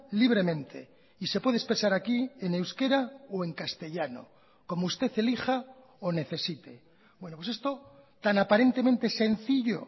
libremente y se puede expresar aquí en euskera o en castellano como usted elija o necesite bueno pues esto tan aparentemente sencillo